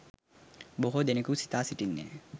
බොහෝ දෙනෙකු සිතා සිටින්නේ,